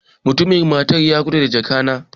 Mutumin Masar ya gudu da jaka na